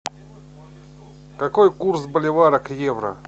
какой курс боливара к евро